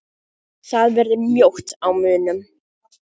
Það verður mjótt á munum